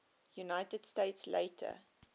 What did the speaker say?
united states later